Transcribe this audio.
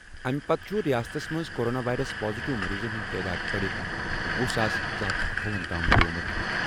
اَمہِ پتہٕ چھُ رِیاستَس منٛز کورونا وائرس پازیٹیو مٔریٖضَن ہُنٛد تعداد بَڑِتھ وُہ ساس زٕ ہَتھ تہٕ اَٹھوُہَن تام بَڑیمُت۔